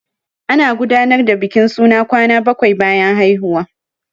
Ana gudanar da bikin suna kwana bakwai bayan haihuwa.